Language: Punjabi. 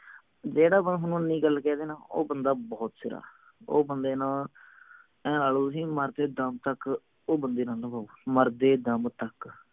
ਜਿਹੜਾ ਬੰਦਾ ਥੋਨੂੰ ਇੰਨੀ ਗੱਲ ਕਹਿ ਦੇ ਨਾ ਉਹ ਬੰਦਾ ਬਹੁਤ ਸਿਰਾ ਉਹ ਬੰਦੇ ਨਾਲ ਆਏਂ ਲਗਦੇ ਤੁਸੀਂ ਮਰਦੇ ਦਮ ਤਕ ਉਹ ਬੰਦੇ ਨਾਲ ਨਿਭਾਓ ਮਰਦੇ ਦਮ ਤਕ